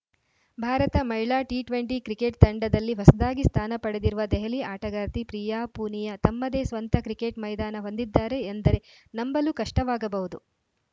ಭಾರತ ಮಹಿಳಾ T twenty cricket ತಂಡದಲ್ಲಿ ಹೊಸದಾಗಿ ಸ್ಥಾನ ಪಡೆದಿರುವ ದೆಹಲಿ ಆಟಗಾರ್ತಿ ಪ್ರಿಯಾ ಪೂನಿಯಾ ತಮ್ಮದೇ ಸ್ವಂತ ಕ್ರಿಕೆಟ್‌ ಮೈದಾನ ಹೊಂದಿದ್ದಾರೆ ಎಂದರೆ ನಂಬಲು ಕಷ್ಟವಾಗಬಹುದು